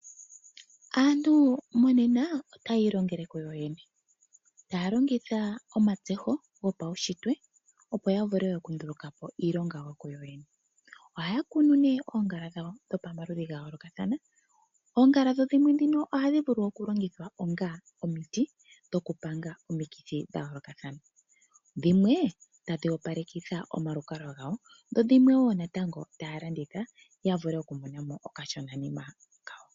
Aantu monena otayi ilongela kuyoyene taya longitha omatseho gopaushitwe opo ya vule oku ndulukapo iilonga yawo kuyoyene. Ohaya kune ne oongala dhawo dho maludhi gayoolokathana. Oongala dhimwe ndhino ohadhi vulu okulongithwa onga omiti dhokupanga omikithi dha yoolokathana, dhimwe tadhi opalekitha omalukalwa gawo dho dhimwe woo natango taya landitha ya vule okumona mo okashona nima kawo.